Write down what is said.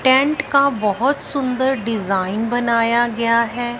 Tent का बहोत सुंदर डिजाइन बनाया गया है।